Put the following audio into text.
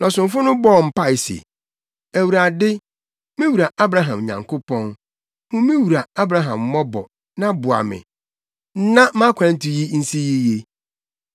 Na ɔsomfo no bɔɔ mpae se, “ Awurade, me wura Abraham Nyankopɔn, hu me wura Abraham mmɔbɔ, na boa me, na mʼakwantu yi nsi yiye.